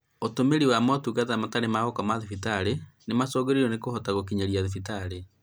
Ũtũmĩri wa motungata matarĩ ma gũkoma thibitarĩ nĩmacũngĩrĩirio nĩ kũhota gũkinyĩra thibitarĩ